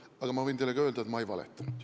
Aga võin teile ka öelda, et ma ei valetanud.